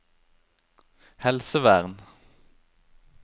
helsevern